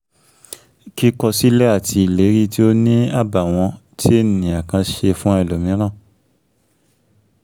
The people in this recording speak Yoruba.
kíkọ sílẹ̀ àti ìlérí tí ó ní àbàwọ́n tí ènìyàn kan ṣe fún ẹlòmíràn